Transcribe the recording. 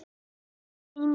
Helga Braga í flugfreyjuna